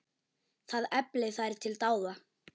Það efli þær til dáða.